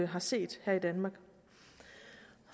har set her i danmark